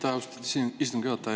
Aitäh, austatud istungi juhataja!